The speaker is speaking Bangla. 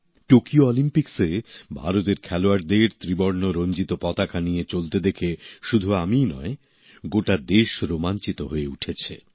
টোকিও অলিম্পিক্সে ভারতের খেলোয়াড়দের ত্রিবর্ণ রঞ্জিত পতাকা নিয়ে চলতে দেখে শুধু আমিই নয় গোটা দেশ রোমাঞ্চিত হয়ে উঠেছে